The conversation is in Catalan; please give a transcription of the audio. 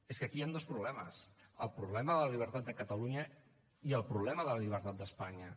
és que aquí hi han dos problemes el problema de la llibertat de catalunya i el problema de la llibertat d’espanya